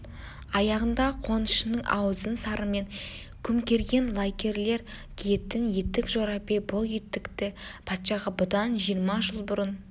аяғында қонышының аузын сарымен көмкерген лакейлер киетін етік жорабек бұл етікті патшаға бұдан жиырма жыл бұрын